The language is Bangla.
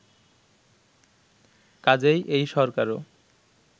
কাজেই এই সরকারও